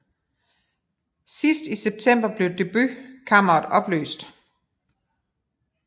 Sidst i september blev Deputeretkammeret opløst